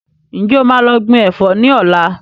Ǹjẹ́ o máa lọ gbìn Ẹ̀fọ́ ni ọ̀la?